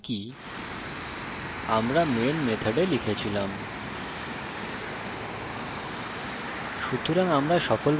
যেমনকি আমরা main method লিখেছিলাম